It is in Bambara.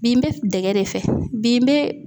Bi n bɛ dɛgɛ de fɛ bi n bɛ